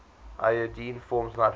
iodine forms nitrogen